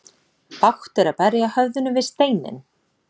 Bágt er að berja höfðinu við steinninn.